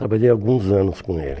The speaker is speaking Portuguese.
Trabalhei alguns anos com ele.